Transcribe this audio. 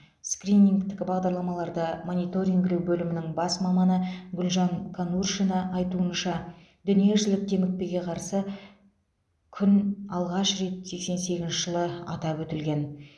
скринингтік бағдарламаларды мониторингілеу бөлімінің бас маманы гүлжан конуршина айтуынша дүниежүзілік демікпеге қарсы күн алғаш рет сексен сегізінші жылы атап өтілген